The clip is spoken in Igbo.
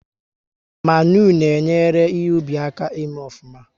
Mmanụ na enyere ihe ubi aka ị mee ofuma